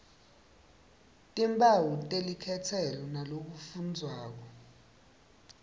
timphawu telikhetselo nalokufundvwako